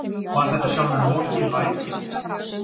Var þetta sjálfur Loki lævísi?